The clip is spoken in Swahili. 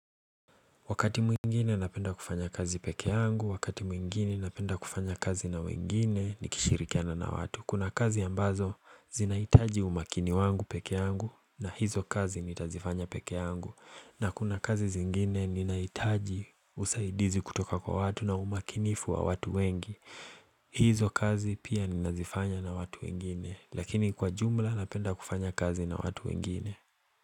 Wakati mwingine napenda kufanya kazi peke yangu. Wakati mwingine napenda kufanya kazi na wengine nikishirikiana na watu. Kuna kazi ambazo zinahitaji umakini wangu peke yangu na hizo kazi nitazifanya peke yangu. Na kuna kazi zingine ninahitaji usaidizi kutoka kwa watu na umakinifu wa watu wengi. Hizo kazi pia ninazifanya na watu wengine. Lakini kwa jumla napenda kufanya kazi na watu wengine.